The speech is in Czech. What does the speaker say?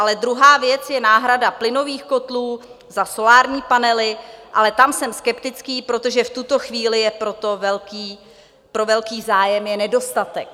Ale druhá věc je náhrada plynových kotlů za solární panely, ale tam jsem skeptický, protože v tuto chvíli je pro velký zájem nedostatek.